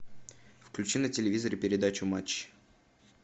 включи на телевизоре передачу матч